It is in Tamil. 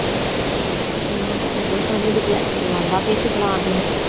என்னப்பா எதுவும் சொல்றதுக்கு இல்ல சரி வந்தா பேசிக்கலாம் அப்படின்னு